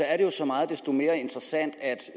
er det jo så meget desto mere interessant at